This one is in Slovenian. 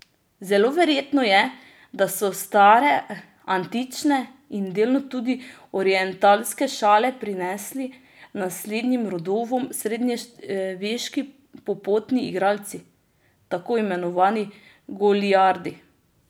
Zelo verjetno je, da so stare antične in delno tudi orientalske šale prenesli naslednjim rodovom srednjeveški popotni igralci, tako imenovani goliardi.